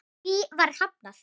Því var hafnað.